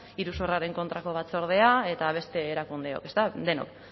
iruzurraren kontrako batzordea eta beste erakundeok ezta denok